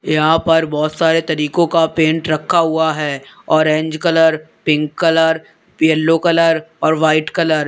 यहां पर बहोत सारे तरीकों का पेंट रखा हुआ है orange colour pink colour yellow colour और वाइट कलर ।